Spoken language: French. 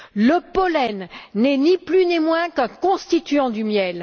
Le pollen n'est ni plus ni moins qu'un constituant du miel.